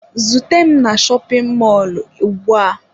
Zute m na shopin mọlụ ugbu a!